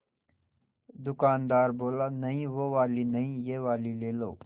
दुकानदार बोला नहीं वो वाली नहीं ये वाली ले लो